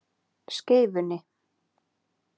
Skeifunni